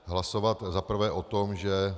Hlasovat za prvé o tom, že